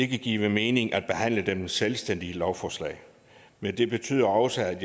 give mening at behandle dem i selvstændige lovforslag men det betyder også at